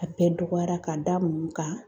A bɛɛ dɔgɔyara k'a da mun kan?